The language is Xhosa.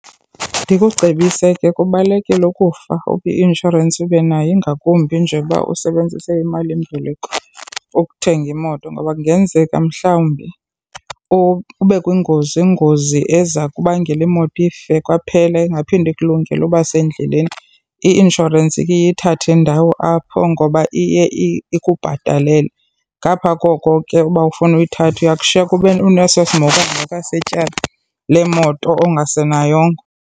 Ndikucebise ke kubalulekile ukufa uba i-inshorensi ube nayo ingakumbi nje kuba usebenzise imalimboleko ukuthenga imoto. Ngoba kungenzeka mhlawumbi ube kwingozi, ingozi eza kubangela imoto ife kwaphela ingaphinde ikulungele uba sendleleni. I-inshorensi ke iye ithathe indawo apho ngoba iye ikubhatalele. Ngapha koko ke uba awufuni uyithatha uya kushiyeka unesosimhokamhoka setyala lemoto ongasenayongo.